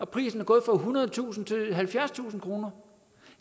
prisen er gået fra ethundredetusind kroner til halvfjerdstusind kroner